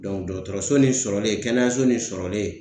dɔgɔtɔrɔso nin sɔrɔlen kɛnɛyaso nin sɔrɔlen